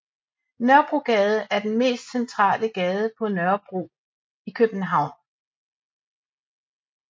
Nørrebrogade er den mest centrale gade på Nørrebro i København